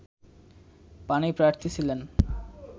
পাণিপ্রার্থী ছিলেন